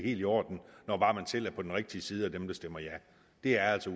i orden når bare man selv er på den rigtige side af dem der stemmer ja det er altså